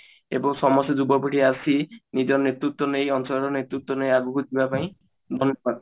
ଏବଂ ସମସ୍ତେ ଯୁବପିଢି ଆସି ନିଜ ନେତୃତ୍ଵ ନେଇ ଅଞ୍ଚଳର ନେତୃତ୍ଵ ନେଇ ଆଗକୁ ଯିବା ପାଇଁ